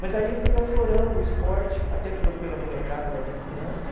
Mas aí eu fui aflorando o esporte, até pelo pela molecada da vizinhança,